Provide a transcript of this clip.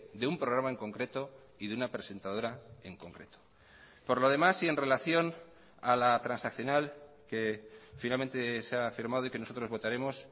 de un programa en concreto y de una presentadora en concreto por lo demás y en relación a la transaccional que finalmente se ha firmado y que nosotros votaremos